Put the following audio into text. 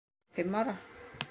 fimm ára.